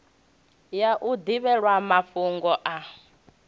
ya u ḓivhelwa mafhugo a